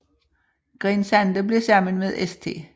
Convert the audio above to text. Grene Sande blev sammen med St